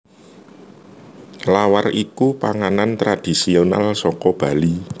Lawar iku panganan tradisional saka Bali